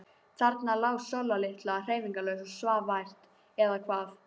Þarna lá Sóla litla hreyfingarlaus og svaf vært. eða hvað?